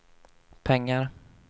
pengar